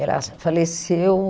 Ela faleceu